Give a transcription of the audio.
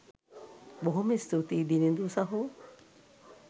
බොහොම ස්තූතියි දිනිඳු සහෝ